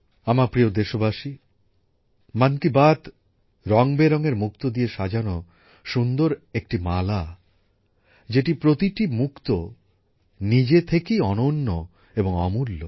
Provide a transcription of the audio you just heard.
আমার প্রিয় দেশবাসী মন কি বাত রঙবেরঙের মুক্তো দিয়ে সাজানো সুন্দর একটা মালা যেটার প্রতিটা মুক্ত নিজে থেকেই অনন্য এবং অমূল্য